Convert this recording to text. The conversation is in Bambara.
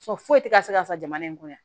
foyi tɛ ka se ka sa jamana in kɔnɔ yan